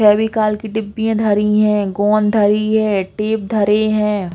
फेविकोल का डिब्बी धरी हैं गोंद धरी है टेप धरे हैं।